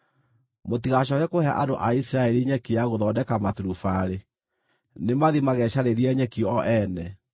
“Mũtigacooke kũhe andũ a Isiraeli nyeki ya gũthondeka maturubarĩ; nĩmathiĩ magecarĩrie nyeki o ene.